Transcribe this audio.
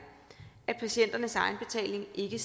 at patienternes egenbetaling ikke